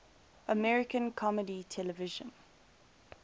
american comedy television